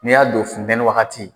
Ni y'a don funtɛni wagati